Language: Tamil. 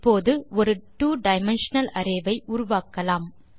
இப்போது ஒரு ட்வோ டைமென்ஷனல் அரே ஐ உருவாக்கலாம்